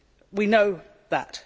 we know that